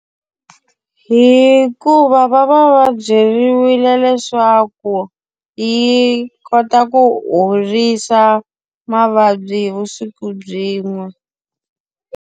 Hikuva va va va byeriwile leswaku yi kota ku horisa mavabyi hi vusiku byin'we.